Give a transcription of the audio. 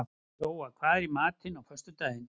Jóa, hvað er í matinn á föstudaginn?